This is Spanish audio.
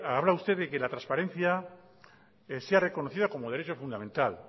habla usted de que la transparencia sea reconocida como derecho fundamental